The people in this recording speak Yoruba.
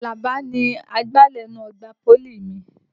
Àlàbá ni agbalẹ̀ inú ọgbà pólì mi.